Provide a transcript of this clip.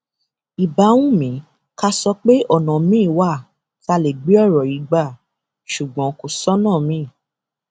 ìbá wù mí ká sọ pé ọnà miín wà táa lè gbé ọrọ yìí gbà ṣùgbọn kò sọnà miín